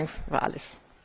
Herzlichen Dank für alles!